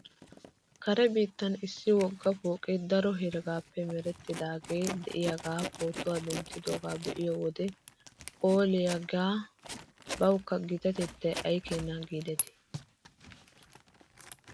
Kare biittan issi wogga pooqee daro heregaappe merettidaagee de'iyaagaa pootuwaa denttidoogaa be'iyoo wode phooliyaagee bawkka gitatettaa ay keenes giidetii .